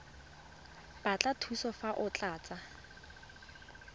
batla thuso fa o tlatsa